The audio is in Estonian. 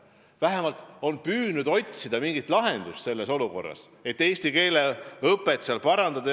Vähemalt on püütud otsida mingit lahendust, et eesti keele õpet seal parandada.